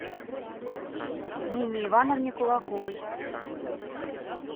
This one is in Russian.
нине ивановне кулаковой